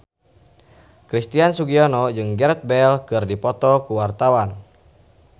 Christian Sugiono jeung Gareth Bale keur dipoto ku wartawan